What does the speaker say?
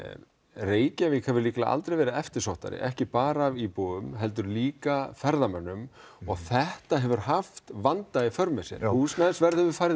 Reykjavík hefur aldrei verið eftirsóttari ekki bara af íbúum heldur líka ferðamönnum og þetta hefur haft vanda í för með sér húsnæðisverð hefur farið